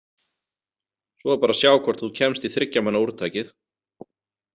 Svo er bara að sjá hvort þú kemst í þriggja manna úrtakið.